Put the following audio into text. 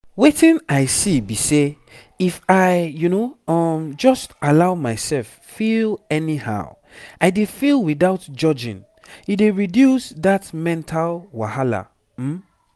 wetin i see be say if i um just allow myself feel anyhow i dey feel without judging e dey reduce that mental wahala um